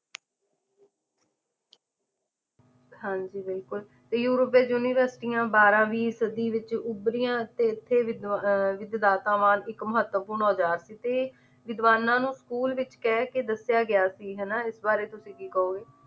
ਹਾਂਜੀ ਬਿਲਕੁਲ ਤੇ ਯੂਰਪ ਵਿੱਚ ਯੂਨੀਵਰਸਿਟੀਆਂ ਬਾਰਵੀਂ ਸਦੀ ਵਿੱਚ ਉਭਰੀਆਂ ਤੇ ਇੱਥੇ ਵਿਦ ਅਹ ਵਿਧਦਾਤਾਵਾਂ ਤੇ ਇੱਕ ਮਹੱਤਵਪੂਰਨ ਔਜਾਰ ਸੀ ਤੇ ਵਿਦਿਵਾਨਾ ਨੂੰ school ਵਿੱਚ ਕਹਿਕੇ ਦੱਸਿਆ ਗਿਆ ਸੀ ਹਨਾਂ ਇਸ ਬਾਰੇ ਤੁਸੀ ਕੀ ਕਹੋਗੇ